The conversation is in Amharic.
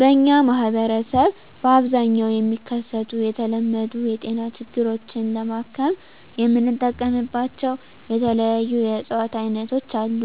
በእኛ ማህበረሰብ በአብዛኛው የሚከሰቱ የተለመዱ የጤና ችግሮችን ለማከም የምንጠቀምባቸው የተለያዩ የእፅዋት አይነቶች አሉ።